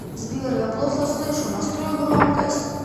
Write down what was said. сбер я плохо слышу настрой громкость